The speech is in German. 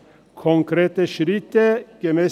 Konkrete Schritte gemäss